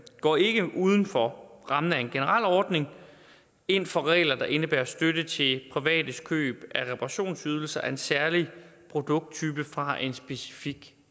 går ikke uden for rammen af en generel ordning ind for regler der indebærer støtte til privates køb af reparationsydelser af en særlig produkttype fra en specifik